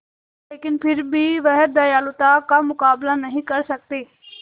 लेकिन फिर भी वह दयालुता का मुकाबला नहीं कर सकती